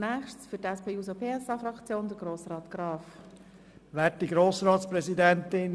Für die SP-JUSO-PSA-Fraktion hat Grossrat Graf das Wort.